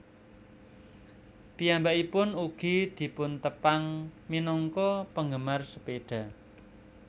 Piyambakipun ugi dipuntepang minangka penggemar sepeda